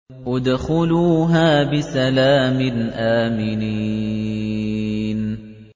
ادْخُلُوهَا بِسَلَامٍ آمِنِينَ